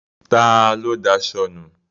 Ta ló daṣọ nu?